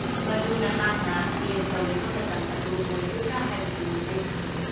ꯃꯗꯨ ꯅꯍꯥꯛꯅ ꯑꯦꯝ ꯇꯧꯔꯤꯕ ꯃꯇꯝ ꯑꯗꯨ ꯑꯣꯏꯒꯗ꯭ꯔꯥ ꯍꯥꯏꯕꯗꯨ ꯑꯩ ꯈꯪꯗꯦ꯫